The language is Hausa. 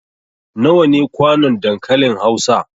Nawa ne kwanon dankalin Hausa?